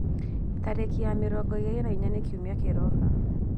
Tariki ya mĩrongo ĩĩrĩ na ĩya nĩ rĩ kiumia kiroka